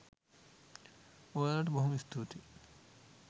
ඔයාලට බොහොම ස්තූතියි